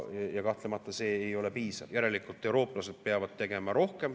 Kahtlemata see ei ole piisav, järelikult eurooplased peavad tegema rohkem.